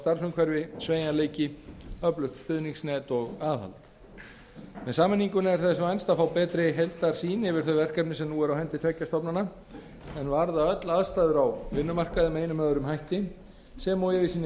starfsumhverfi sveigjanleiki öflugt stuðningsnet og aðhald með sameiningunni er þess vænst að fá betri heildarsýn yfir verkefni sem nú eru á hendi tveggja stofnana en varða öll aðstæður á vinnumarkaði með einum eða öðrum hætti sem og einnig